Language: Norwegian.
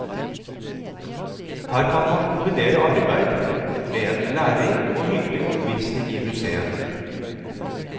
Her kan man kombinere arbeid med en lærerik og hyggelig omvisning i museet.